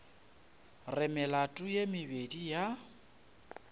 re melato ye mebedi ya